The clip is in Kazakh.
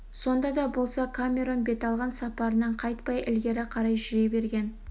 сонда да болса камерон бет алған сапарынан қайтпай ілгері қарай жүре берген